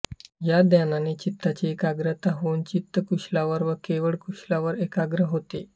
या ध्यानाने चित्ताची एकाग्रता होवुन चित्त कुशलावर व केवळ कुशलावर एकाग्र होते